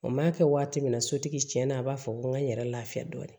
O m'a kɛ waati min na sotigi tiɲɛna a b'a fɔ ko n ka n yɛrɛ lafiya dɔɔnin